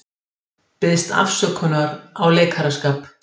Biðst afsökunar á leikaraskap